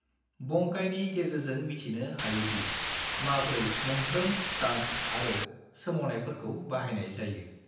बंकाइनि गेजेरजों मिथिनो हायोदि माब्रै मोनफ्रोम स्टान्स आरो सोमावनायफोरखौ बाहायनाय जायो।